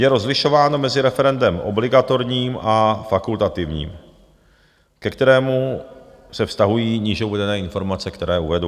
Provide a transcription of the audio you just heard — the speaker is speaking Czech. Je rozlišováno mezi referendem obligatorním a fakultativním, ke kterému se vztahují níže uvedené informace, které uvedu.